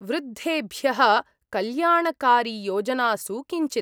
वृद्धेभ्यः कल्याणकारियोजनासु किञ्चित्।